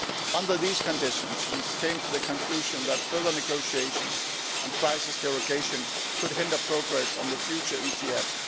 Under these conditions we came to the conclusion that further negotiations on crisis derogation could hinder progress on the future EGF.